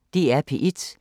DR P1